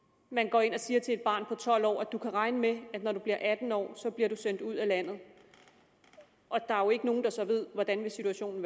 man går ind og siger til et barn på tolv år du kan regne med at når du bliver atten år bliver du sendt ud af landet og der er jo ikke nogen der så ved hvordan situationen